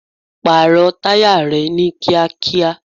Pààrọ̀ táyà rẹ ni kíákíá!